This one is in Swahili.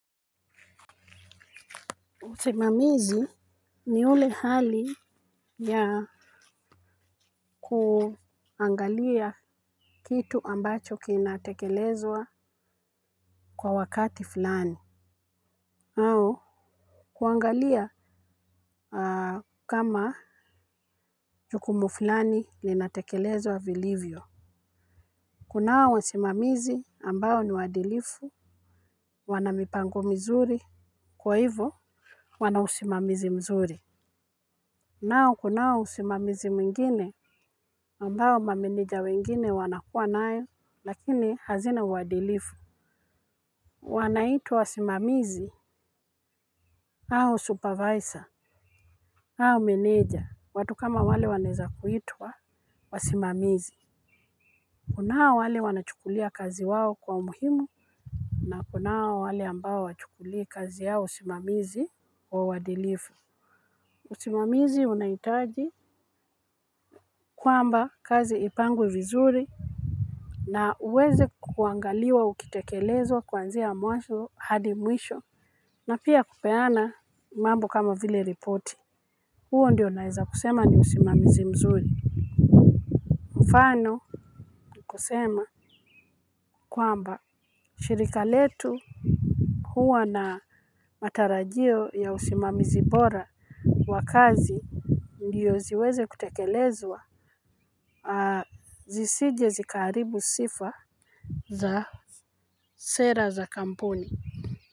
Usimamizi ni ule hali ya kuangalia kitu ambacho kinatekelezwa kwa wakati fulani au kuangalia kama jukumu fulani linatekelezwa vilivyo. Kunao wasimamizi ambao ni waadilifu. Wana mipango mizuri kwa hivo wana usimamizi mzuri. Nao kunao usimamizi mwingine ambao mameneja wengine wanakuwa nayo lakini hazina uwadilifu. Wanaitwa wasimamizi au supervisor au menega watu kama wale wanaeza kuitwa wasimamizi. Kunao wale wanachukulia kazi wao kwa umuhimu na kunao wale ambao hawachukuli kazi yao ya usimamizi kwa uwadilifu. Usimamizi unaitaji kwamba kazi ipangwe vizuri. Na uweze kuangaliwa ukitekelezwa kwanzia mwazo hadi mwisho. Na pia kupeana mambo kama vile ripoti. Huo ndiyo naeza kusema ni usimamizi mzuri mfano kusema kwamba shirika letu huwa na matarajio ya usimamizi bora wa kazi ndiyo ziweze kutekelezwa. Zisije zikaaribu sifa za sera za kampuni.